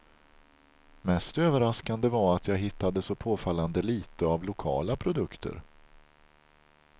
Mest överraskande var att jag hittade så påfallande litet av lokala produkter.